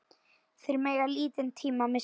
Þeir mega lítinn tíma missa.